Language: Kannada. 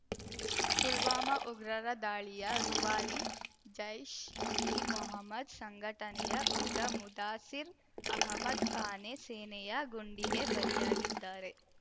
ಪುಲ್ವಾಮಾ ಉಗ್ರರ ದಾಳಿಯ ರೂವಾರಿ ಜೈಷ್ಇಮೊಹಮದ್ ಸಂಘಟನೆಯ ಉಗ್ರ ಮುದಾಸಿರ್ ಅಹಮದ್ ಖಾನೆ ಸೇನೆಯ ಗುಂಡಿಗೆ ಬಲಿಯಾಗಿದ್ದಾರೆ